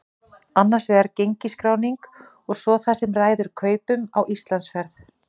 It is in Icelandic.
Annars vegar gengisskráningin og svo það sem ræður kaupum á Íslandsferð.